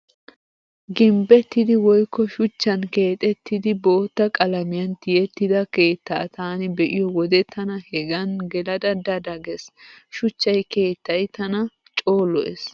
Gimbbettidi woykko shuchchan keexettidi bootta qalamiyan tiyettida keetta taani be'iyo wode tana hegan gelada da da gees. Shuchchay keettay tana coo lo'ees.